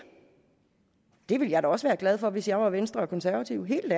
det ville jeg da også være glad for hvis jeg var venstre og konservative helt